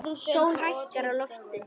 Sól hækkar á lofti.